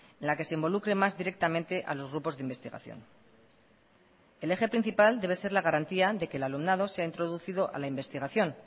en la que se involucre más directamente a los grupos de investigación el eje principal debe ser la garantía de que el alumnado sea introducido a la investigación